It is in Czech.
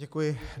Děkuji.